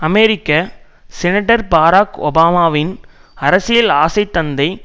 அமெரிக்க senator Barack ஒபாமாவின் அரசியல் ஆசைத் தந்தை